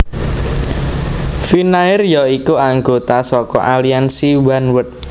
Finnair ya iku anggota saka aliansi Oneworld